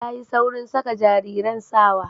Tayi saurin saka jariran sawa